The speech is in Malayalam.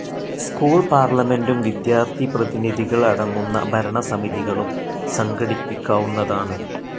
സ്കൂൾ പാർലമെൻ്റും വിദ്യാർത്ഥിപ്രതിനിധികൾ അടങ്ങുന്ന ഭരണസമിതികളും സംഘടിപ്പിക്കാവുന്നതാണ്.